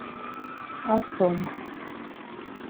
асом